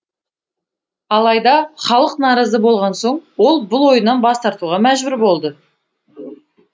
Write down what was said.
алайда халық наразы болған соң ол бұл ойынан бас тартуға мәжбүр болды